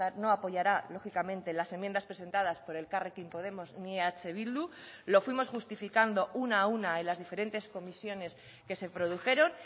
no apoyará lógicamente las enmiendas presentadas por elkarrekin podemos ni eh bildu lo fuimos justificando una a una en las diferentes comisiones que se produjeron